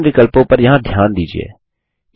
विभिन्न विकल्पों पर यहाँ ध्यान दीजिये